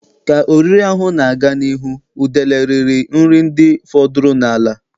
Ka oriri ahụ na-aga n'ihu, udele riri nri ndị fọdụrụ n'ala.